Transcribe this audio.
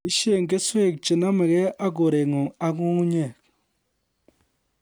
Boisie keswek che nomegei ak koreng'ung ak nyung'unyek